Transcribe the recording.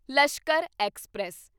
Lashkar express